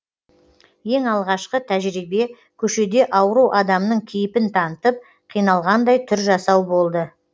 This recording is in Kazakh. ең алғашқы тәжірибе көшеде ауру адамның кейіпін танытып қиналғандай түр жасау болды